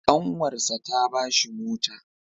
Ƙanwarsa ta ba shi mota.